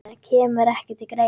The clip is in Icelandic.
Kemur ekki til greina